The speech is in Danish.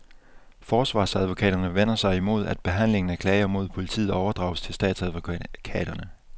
Forsvarsadvokaterne vender sig mod, at behandlingen af klager mod politiet overdrages til statsadvokaterne.